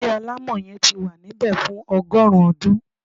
Ilé alamọ yẹn tí wá nbẹ fún ọgọrun ọdún